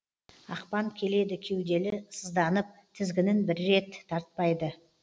ақпан келеді кеуделі сызданып тізгінін бір рет тартпайды